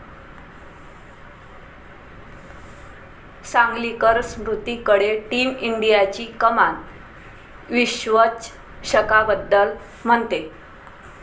सांगलीकर स्मृतीकडे टीम इंडियाची कमान, विश्वचषकाबद्दल म्हणते...